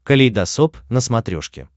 калейдосоп на смотрешке